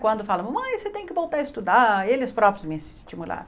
Quando falam, mamãe, você tem que voltar a estudar, eles próprios me estimularam.